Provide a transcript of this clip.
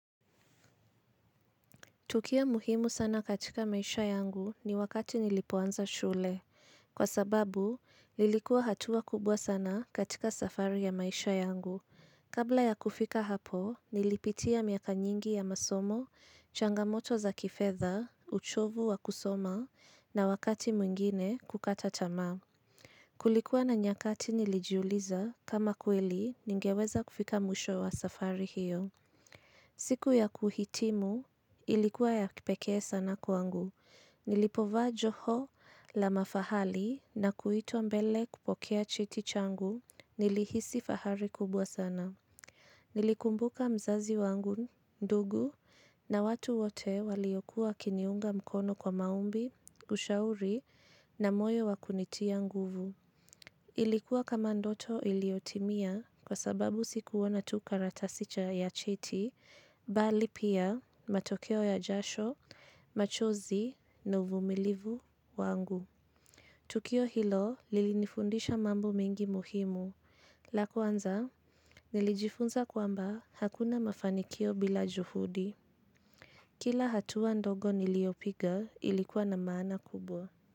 Tukio muhimu sana katika maisha yangu ni wakati nilipoanza shule. Kwa sababu, lilikuwa hatua kubwa sana katika safari ya maisha yangu. Kabla ya kufika hapo, nilipitia miaka nyingi ya masomo, changamoto za kifedha, uchovu wa kusoma na wakati mwingine kukata tamaa. Kulikuwa na nyakati nilijiuliza kama kweli ningeweza kufika mwisho wa safari hiyo. Siku ya kuhitimu ilikuwa ya kipekee sana kwangu. Nilipovaa joho la mafahali na kuitwa mbele kupokea cheti changu nilihisi fahari kubwa sana. Nilikumbuka mzazi wangu, ndugu na watu wote waliokuwa wakiniunga mkono kwa maombi, ushauri na moyo wakunitia nguvu. Ilikuwa kama ndoto iliyotimia kwa sababu sikuona tu karatasi cha ya cheti, bali pia matokeo ya jasho, machozi na uvumilivu wangu. Tukio hilo lilinifundisha mambo mengi muhimu, la kwanza nilijifunza kwamba hakuna mafanikio bila juhudi. Kila hatuwa ndogo niliopiga ilikuwa na maana kubwa.